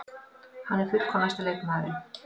Hann er fullkomnasti leikmaðurinn.